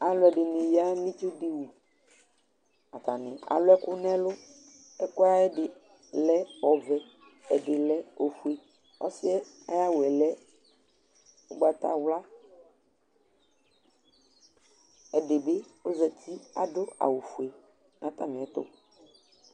Alɔdini yă nu ɩtsu di wʊ Atanɩ alu ɛku nu ɛlu Ɛku ayɛdi lǝ ɔʋɛ, ǝdi lɛ ofué Ɔsiɛ aya awʊɛ kǝ ugbata wla Ɛdi bi ozati adu awʊ fué na atamiɛtu